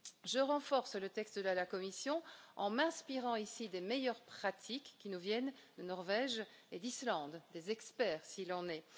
Je renforce le texte de la Commission en m'inspirant des meilleures pratiques qui nous viennent de Norvège et d'Islande, des experts, s'il en est.